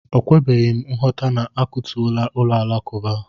O kwebeghịm nghọta na-akụtuola ụlọ alakụba a.